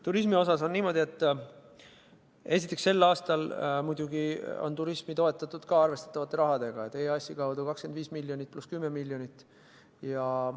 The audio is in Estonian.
Turismiga on niimoodi, et esiteks, sel aastal on turismi toetatud arvestatavate rahadega: EAS-i kaudu 25 miljonit pluss 10 miljonit eurot.